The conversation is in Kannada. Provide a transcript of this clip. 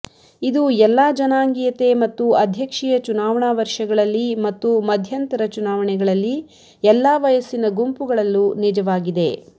ಇದು ಎಲ್ಲಾ ಜನಾಂಗೀಯತೆ ಮತ್ತು ಅಧ್ಯಕ್ಷೀಯ ಚುನಾವಣಾ ವರ್ಷಗಳಲ್ಲಿ ಮತ್ತು ಮಧ್ಯಂತರ ಚುನಾವಣೆಗಳಲ್ಲಿ ಎಲ್ಲಾ ವಯಸ್ಸಿನ ಗುಂಪುಗಳಲ್ಲೂ ನಿಜವಾಗಿದೆ